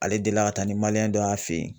Ale delila ka taa ni dɔ y'a fɛ yen.